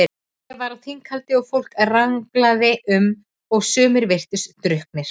Hlé var á þinghaldi og fólk ranglaði um, sumir virtust drukknir.